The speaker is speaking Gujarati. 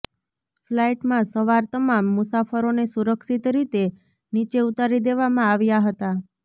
ફ્લાઈટમાં સવાર તમામ મુસાફરોને સુરક્ષિત રીતે નીચે ઉતારી દેવામાં આવ્યાં હતા